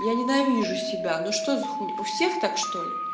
я ненавижу себя ну что за хуй у всех так что ли